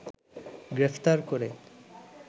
গ্রেফতার করে